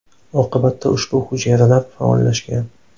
Oqibatda ushbu hujayralar faollashgan.